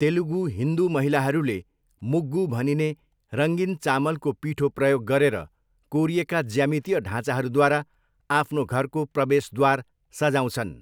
तेलुगू हिन्दू महिलाहरूले मुग्गु भनिने रङ्गीन चामलको पीठो प्रयोग गरेर कोरिएका ज्यामितीय ढाँचाहरूद्वारा आफ्नो घरको प्रवेशद्वार सजाउँछन्।